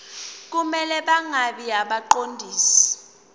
kumele bangabi ngabaqondisi